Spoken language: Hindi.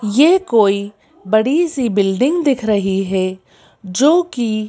यह कोई बड़ी सी बिल्डिंग दिख रही है जो कि--